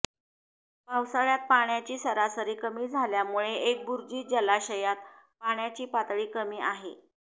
पावसाळ्यात पाण्याची सरासरी कमी झाल्यामुळे एकबुर्जी जलाशयात पाण्याची पातळी कमी आहे